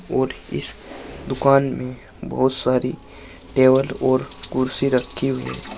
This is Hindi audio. और इस दुकान में बहुत सारी टेबल और कुर्सी रखी हुई है।